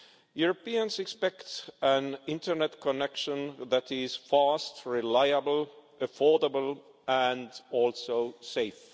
Europeans expect an internet connection that is fast, reliable, affordable and safe.